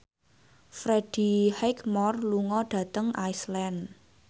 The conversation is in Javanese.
Freddie Highmore lunga dhateng Iceland